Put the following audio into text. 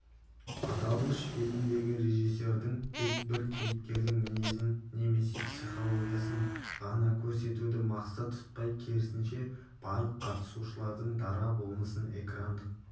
аталмыш фильмдегі режиссердің тек бір кейіпкердің мінезін немесе психологиясын ғана көрсетуді мақсат тұтпай керісінше барлық қатысушылардың дара болмысын экрандық